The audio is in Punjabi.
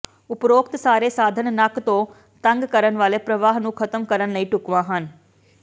ਉਪਰੋਕਤ ਸਾਰੇ ਸਾਧਨ ਨੱਕ ਤੋਂ ਤੰਗ ਕਰਨ ਵਾਲੇ ਪ੍ਰਵਾਹ ਨੂੰ ਖਤਮ ਕਰਨ ਲਈ ਢੁਕਵਾਂ ਹਨ